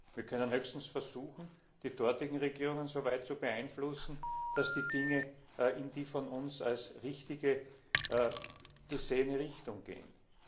Wir können höchstens versuchen, die dortigen Regierungen so weit zu beeinflussen, dass die Dinge in die von uns als richtig gesehene Richtung gehen.